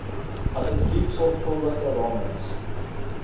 asseblief sorgvuldige ramings